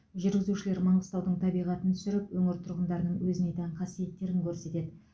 жүргізушілер маңғыстаудың табиғатын түсіріп өңір тұрғындарының өзіне тән қасиеттерін көрсетеді